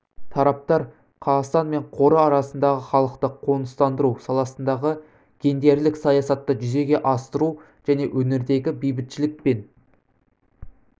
тараптар қазақстан мен қоры арасындағы халықты қоныстандыру саласындағы гендерлік саясатты жүзеге асыру және өңірдегі бейбітшілік пен